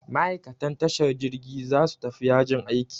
Ma'aikatan tashar jirgi za su tafi yajin aiki.